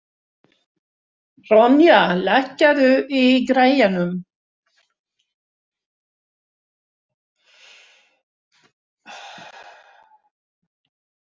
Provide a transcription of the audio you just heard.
Ronja, lækkaðu í græjunum.